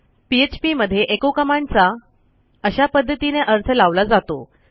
PHP मध्ये echoकमांडचा अशा पध्दतीने अर्थ लावला जातो